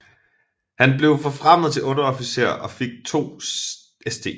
Han blev forfremmet til underofficer og fik to St